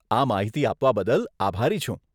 આ માહિતી આપવા બદલ આભારી છું.